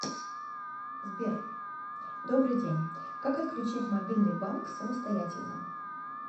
сбер добрый день как отключить мобильный банк самостоятельно